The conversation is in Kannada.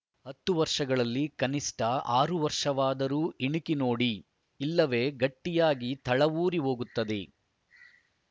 ಹತ್ತು ವರ್ಷಗಳಲ್ಲಿ ಕನಿಷ್ಠ ಆರು ವರ್ಷವಾದರೂ ಇಣುಕಿ ನೋಡಿ ಇಲ್ಲವೇ ಗಟ್ಟಿಯಾಗಿ ತಳವೂರಿ ಹೋಗುತ್ತದೆ